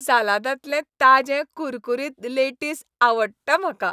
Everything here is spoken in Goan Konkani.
सालादांतलें ताजें कुरकुरीत लेटीस आवडटा म्हाका.